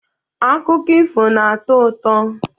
Akụkọ ifo na-atọ ụtọ